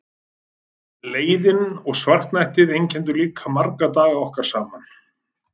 Leiðinn og svartnættið einkenndu líka marga daga okkar saman.